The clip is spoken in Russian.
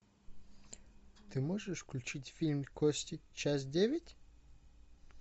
ты можешь включить фильм кости часть девять